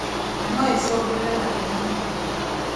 Na noicũngĩrĩrie mathĩna mangĩ